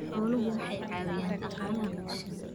Xooluhu waxay caawiyaan dhaqaalaha bulshada.